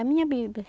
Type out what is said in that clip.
A minha Bíblia.